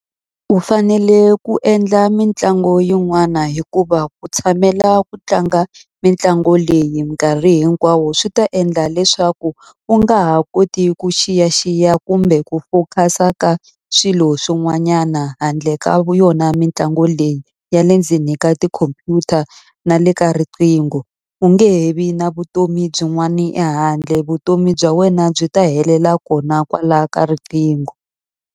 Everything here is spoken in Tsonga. U fanele ku endla mitlangu yin'wana hikuva ku tshamela ku tlanga mitlangu leyi minkarhi hinkwawo, swi ta endla leswaku u nga ha koti ku xiyaxiya kumbe ku focus-a ka swilo swin'wanyana handle ka yona mitlangu leyi ya le ndzeni ka tikhompyuta na le ka riqingho. U nge he vi na vutomi byin'wani ehandle. Vutomi bya wena byi ta helela kona kwalaya ka riqingho.